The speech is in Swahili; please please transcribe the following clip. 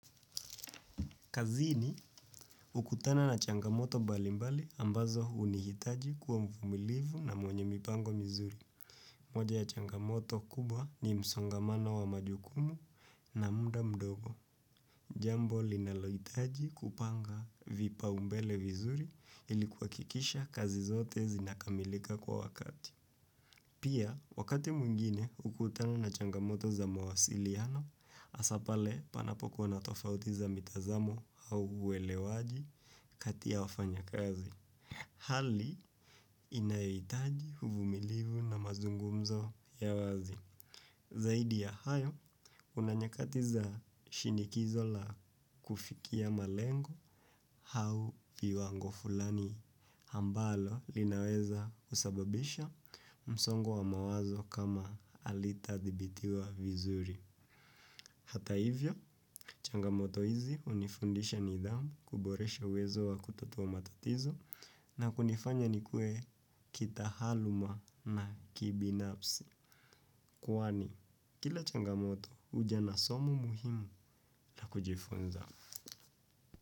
Kazini, ukutana na changamoto mbali mbali ambazo hunihitaji kuwa mvumilivu na mwenye mipango mizuri. Moja ya changamoto kubwa ni msongamano wa majukumu na muda mdogo. Jambo linalohitaji kupanga vipaumbele vizuri ilikuhakikisha kazi zote zinakamilika kwa wakati. Pia, wakati mwingine hukutana na changamoto za mawasiliano, hasa pale panapokuwa na tofauti za mitazamo au uelewaji kati ya wafanyi kazi. Hali, inahitaji uvumilivu na mazungumzo ya wazi. Zaidi ya hayo, kuna nyakati za shinikizo la kufikia malengo au viwango fulani ambalo linaweza kusababisha msongo wa mawazo kama halitadhibitiwa vizuri. Hata hivyo, changamoto hizi hunifundisha nidhamu kuboresha uwezo wa kutatua matatizo na kunifanya nikue kitahaluma na kibinafsi kwani, kila changamoto huja na somo muhimu la kujifunza.